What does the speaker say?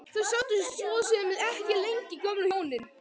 Þau sátu svo sem ekki lengi gömlu hjónin.